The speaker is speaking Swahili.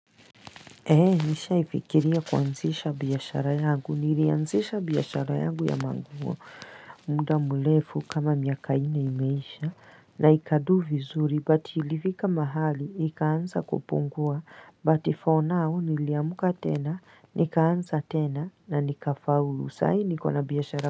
Ee nishaifikiria kuanzisha biashara yangu nilianzisha biashara yangu ya manguo nda mlefu kama miaka ine imeisha na ikadu vizuri batilivika mahali ikaansa kupungua batifonao niliamka tena nikaansa tena na nika faulu sai nikona biashara.